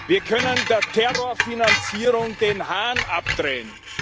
Wir können der Terrorfinanzierung den Hahn abdrehen.